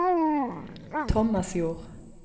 Tomasjord